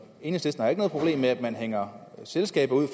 ikke har noget problem med at man hænger selskaber ud